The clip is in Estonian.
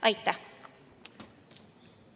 Aitäh!